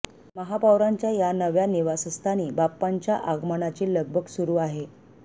महापौरांच्या या नव्या निवासस्थानी बाप्पांच्या आगमनाची लगबग सुरु आहे